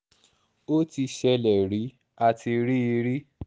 ó ti ṣẹlẹ̀ rí a ti rí i rí